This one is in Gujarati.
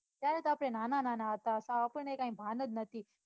ત્યારે તો આપડે નાના નાના હતા અતારે તો કાંઈ ભાન જ નથી.